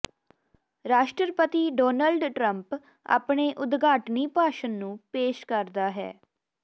ਰਾਸ਼ਟਰਪਤੀ Donald Trump ਆਪਣੇ ਉਦਘਾਟਨੀ ਭਾਸ਼ਣ ਨੂੰ ਪੇਸ਼ ਕਰਦਾ ਹੈ